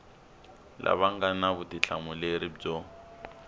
lava nga na vutihlamuleri byo